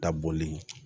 Dabɔli